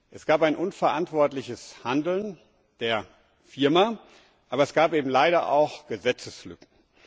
Es gab ein unverantwortliches Handeln der Firma, aber es gab eben leider auch Gesetzeslücken.